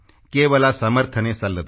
ಕೇವಲ ಸಮರ್ಥನೆ ಸಲ್ಲದು